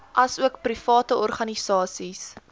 asook private organisasies